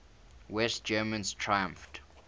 west germans triumphed